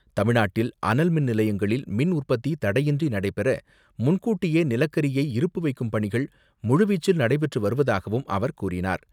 தமிழ்நாட்டில் அனல் மின் நிலையங்களில் மின் உற்பத்தி தடையின்றி நடைபெற முன்கூட்டியே நிலக்கரியை இருப்பு வைக்கும் பணிகள் முழுவீச்சில் நடைபெற்று வருவதாகவும் அவர் கூறினார்.